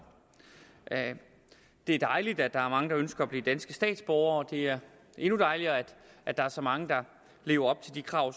det er dejligt at der er mange der ønsker at blive danske statsborgere det er endnu dejligere at der er så mange der lever op til de krav